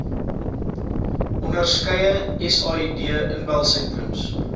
onderskeie said inbelsentrums